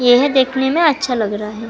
यह देखने में अच्छा लग रहा है।